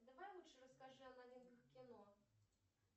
давай лучше расскажи о новинках кино